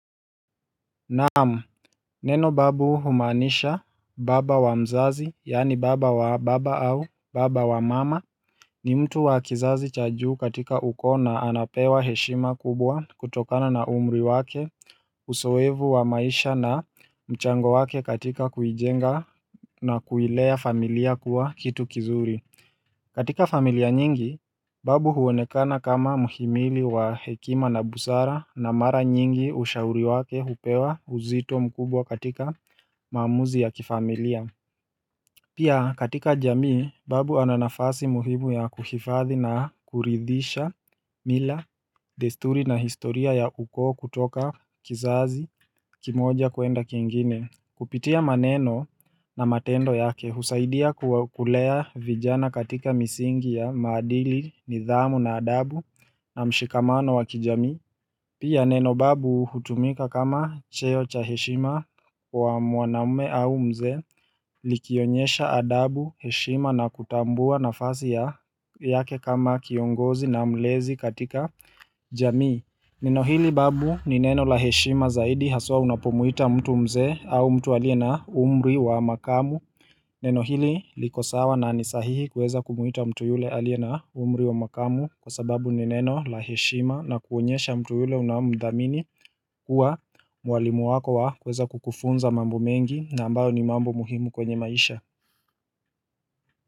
Naam Neno babu humaanisha baba wa mzazi yani baba wa baba au baba wa mama ni mtu wa kizazi cha juu katika ukoo na anapewa heshima kubwa kutokana na umri wake usoevu wa maisha na mchango wake katika kujenga na kuilea familia kuwa kitu kizuri katika familia nyingi, babu huonekana kama muhimili wa hekima na busara na mara nyingi ushauri wake hupewa uzito mkubwa katika maamuzi ya kifamilia. Pia katika jamii, babu ana nafasi muhimu ya kuhifadhi na kuridhisha mila desturi na historia ya ukoo kutoka kizazi kimoja kuenda kingine. Kupitia maneno na matendo yake husaidia kulea vijana katika misingi ya maadili, nidhamu na adabu na mshikamano wa kijami. Pia neno babu hutumika kama cheo cha heshima wa mwanaume au mzee likionyesha adabu, heshima na kutambua nafasi yake kama kiongozi na mlezi katika jamii Neno hili babu ni neno la heshima zaidi haswa unapomwita mtu mzee au mtu aliye na umri wa makamu Neno hili liko sawa na ni sahihi kuweza kumwita mtu yule alie na umri wa makamu Kwa sababu ni neno la heshima na kuonyesha mtu yule unamdhamini kuwa mwalimu wako wa kuweza kukufunza mambo mengi na ambayo ni mambo muhimu kwenye maisha.